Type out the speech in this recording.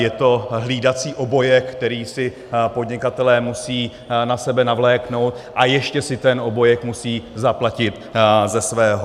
Je to hlídací obojek, který si podnikatelé musí na sebe navléknout, a ještě si ten obojek musí zaplatit ze svého.